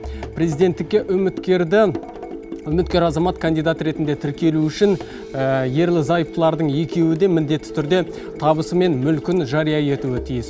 президенттікке үміткердің үміткер азамат кандидат ретінде тіркелу үшін ерлі зайыптылардың екеуі де міндетті түрде табысы мен мүлкін жария етуі тиіс